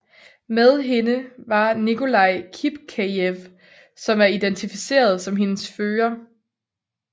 Med hende var Nikolai Kipkejev som er identificeret som hendes fører